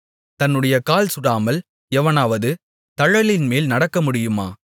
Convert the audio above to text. தன்னுடைய கால் சுடாமல் எவனாவது தழலின்மேல் நடக்கமுடியுமா